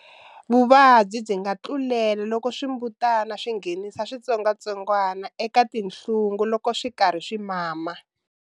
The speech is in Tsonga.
Vuvabyi byi nga tlulela loko swimbutana swi nghenisa switsongwatsongwa eka tinhlungu loko swi ri karhi swi mama.